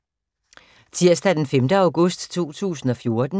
Tirsdag d. 5. august 2014